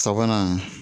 Sabanan